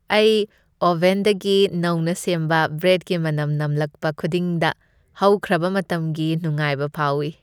ꯑꯩ ꯑꯣꯚꯦꯟꯗꯒꯤ ꯅꯧꯅ ꯁꯦꯝꯕ ꯕ꯭ꯔꯦꯗꯀꯤ ꯃꯅꯝ ꯅꯝꯂꯛꯄ ꯈꯨꯗꯤꯡꯗ ꯍꯧꯈ꯭ꯔꯕ ꯃꯇꯝꯒꯤ ꯅꯨꯡꯉꯥꯏꯕ ꯐꯥꯎꯏ ꯫